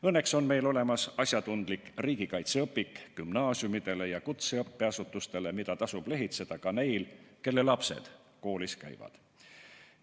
Õnneks on meil olemas asjatundlik riigikaitseõpik gümnaasiumidele ja kutseõppeasutustele, mida tasub lehitseda ka neil, kelle lapsed koolis käivad.